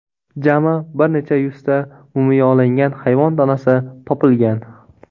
Jami bir necha yuzta mumiyolangan hayvon tanasi topilgan.